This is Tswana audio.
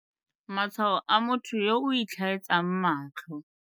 Matshwao a motho yo o itlhaetsang matlho.